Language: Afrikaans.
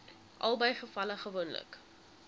albei gevalle gewoonlik